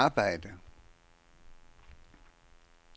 arbejde